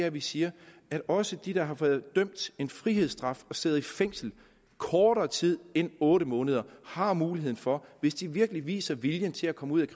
at vi siger at også de der har været idømt en frihedsstraf og sidder i fængsel kortere tid end otte måneder har muligheden for hvis de virkelig viser vilje til at komme ud